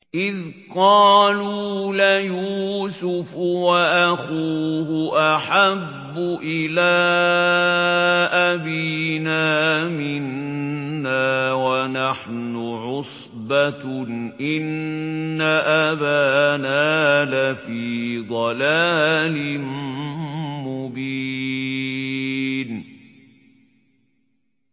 إِذْ قَالُوا لَيُوسُفُ وَأَخُوهُ أَحَبُّ إِلَىٰ أَبِينَا مِنَّا وَنَحْنُ عُصْبَةٌ إِنَّ أَبَانَا لَفِي ضَلَالٍ مُّبِينٍ